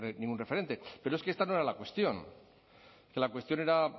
ningún referente pero es que esta no era la cuestión que la cuestión era